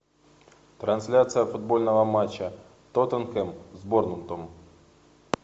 трансляция футбольного матча тоттенхэм с борнмутом